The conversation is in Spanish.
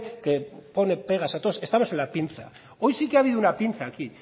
que pone pegas a todo estamos en la pinza hoy sí que ha habido una pinza aquí